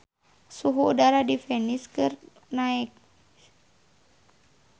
Suhu udara di Venice keur naek